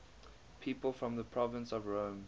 people from the province of rome